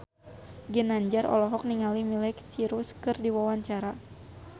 Ginanjar olohok ningali Miley Cyrus keur diwawancara